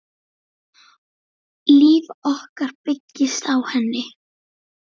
Líf okkar byggist á henni.